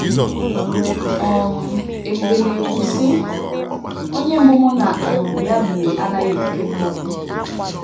um Ebube na - ekwu, sị: “ Onye mbụ mụ na um ya biri anaghị ekwukebe okwu.